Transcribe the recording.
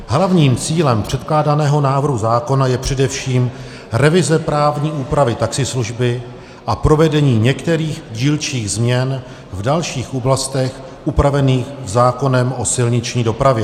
Hlavním cílem předkládaného návrhu zákona je především revize právní úpravy taxislužby a provedení některých dílčích změn v dalších oblastech upravených zákonem o silniční dopravě.